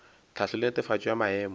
tlhahlo le netefatšo ya maemo